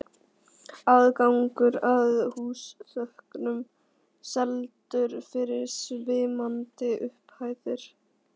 Aðgangur að húsþökum seldur fyrir svimandi upphæðir.